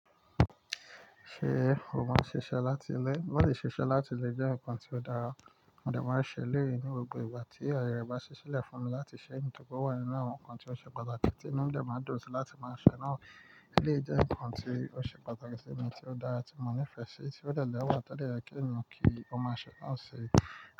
Ṣé o máa ń ṣiṣẹ́ láti ilé? Bóbá le ṣiṣẹ́ láti ilé jẹ́ nǹkan tí ó dára, mo dẹ máa ṣe eleyi ní gbogbo ìgbà tí ayeyẹ bá ṣí sílẹ̀ fún mi láti ṣẹ nítorí pé ó wà nínú àwọn nǹkan tí ó ṣe pàtàkì tí inu mi dẹ máa dùn síi láti máa ṣẹ náà. Eleyi jẹ́ nǹkan tí ó ṣe pàtàkì sí mi tí ó dára tí mo nífẹ̀ẹ́ sí i tí ó dẹ lẹ wa tó dẹ́yẹ kí o ma o máa ṣe náà ṣe.